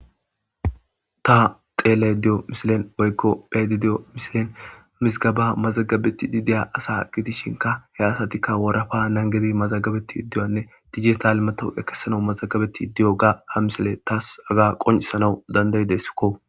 ta xeeley diyo misilen oykko phedi diyo misilen misgaba mazagabeti dideya asa gidishinka he asatikka worafa nangedi mazagabeti iddiyanne dijital mato ekesana mazagabeti diyo ga ha misele taas aga qoncisanau dandayidessikko